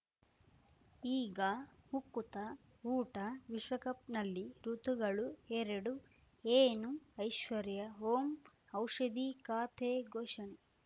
ಈಗ ಉಕುತ ಊಟ ವಿಶ್ವಕಪ್‌ನಲ್ಲಿ ಋತುಗಳು ಎರಡು ಏನು ಐಶ್ವರ್ಯಾ ಓಂ ಔಷಧಿ ಖಾತೆ ಘೋಷಣೆ